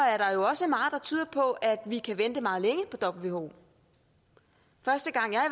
er tyder på at vi kan vente meget længe på who første gang jeg